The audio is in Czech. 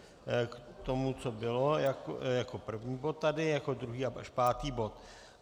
K tomu, co bylo jako první bod tady, jako druhý až pátý bod.